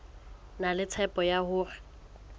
na le tshepo ya hore